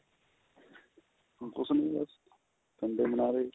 ਕੁਛ ਨੀ ਬਸ Sunday ਮਨਾ ਰੇ